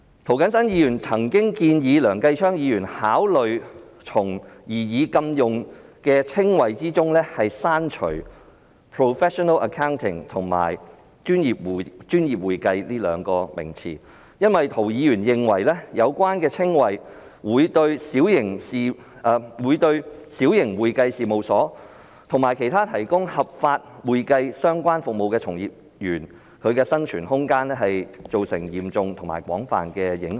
涂謹申議員曾建議梁繼昌議員考慮從擬議的額外指定稱謂中刪除 "professional accounting" 及"專業會計"，因為涂議員認為有關的稱謂會對小型會計事務所及其他提供合法會計相關服務的從業員的生存空間造成嚴重及廣泛的影響。